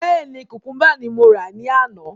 Bẹ́ẹ̀ni, kukumba ní mo rà ní àná